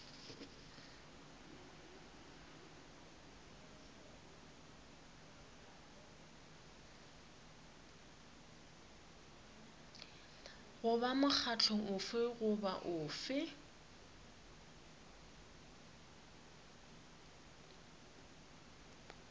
goba mokgatlo ofe goba ofe